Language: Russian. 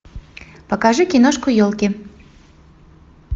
покажи киношку елки